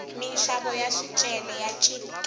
minxavo ya swicelwa ya chikile